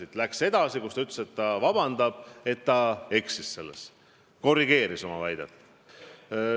Istung läks edasi ja ta ütles, et ta palub vabandust, et ta eksis selles, ja korrigeeris oma väidet.